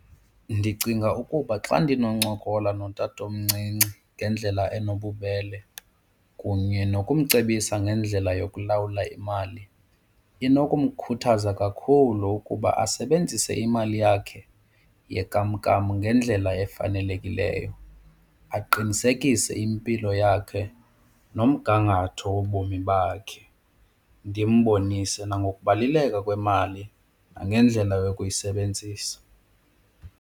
Ndicinga ukuba xa ndinoncokola notatomncinci ngendlela enobubele kunye nokumcebisa ngendlela yokulawula imali inokumkhuthaza kakhulu ukuba asebenzise imali yakhe yenkamnkam ngendlela efanelekileyo aqinisekise impilo yakhe nomgangatho wobomi bakhe. Ndimbonise nangokubaluleka kwemali nangendlela yokuyisebenzisa.